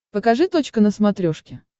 покажи точка на смотрешке